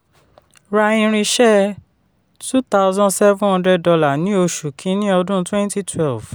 ra irinṣẹ́ two thousand seven hundred dollar ní oṣù kìíní ọdún twenty twelve